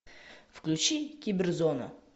включи киберзона